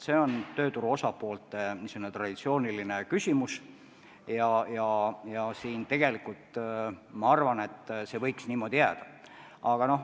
See on traditsiooniline tööturu osapoolte vaheline küsimus ja ma arvan, et see võiks niimoodi jääda.